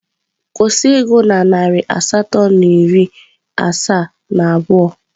kwụsị ịgụ na narị asatọ na iri asaa na abụọ!.